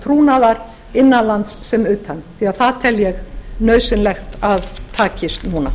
trúnaðar innan lands sem utan því það tel ég nauðsynlegt að takist núna